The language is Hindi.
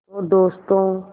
तो दोस्तों